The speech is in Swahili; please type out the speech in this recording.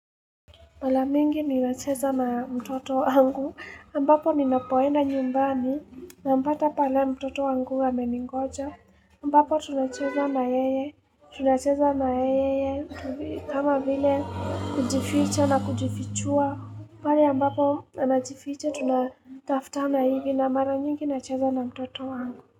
Mala mingi ninacheza na mtoto wangu, ambapo ninapoenda nyumbani nampata pale mtoto wangu ameningoja, ambapo tunacheza na yeye, tunacheza na yeye, kama vile kujificha na kujifichua, pale ambapo anajificha tunataftana hivi na mara mingi nacheza na mtoto wangu.